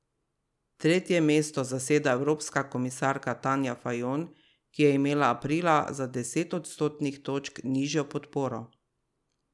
Tretje mesto zaseda evropska komisarka Tanja Fajon, ki je imela aprila za deset odstotnih točk nižjo podporo.